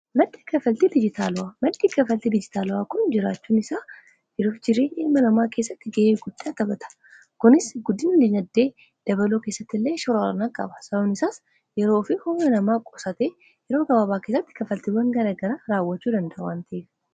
maddi kaffaltii dijitaalawwaa kun jiraachuun isaa yeroo fi jireenya namaa keessatti ga'ee guddaa taphata kunis guddina dinagdee dabaluu keessatti illee shoora qaba akkasumas yeroo fi hojii namaa qusate yeroo gabaabaa kessatti kafaltiiwwan gara gara raawwachuu dandawantiif.